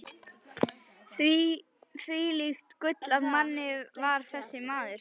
Hvílíkt gull af manni var þessi maður!